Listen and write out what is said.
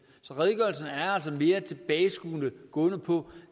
så redegørelsen er altså mere tilbageskuende og gående på